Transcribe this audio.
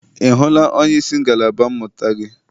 Ị hụla onyeisi ngalaba mmụta gị?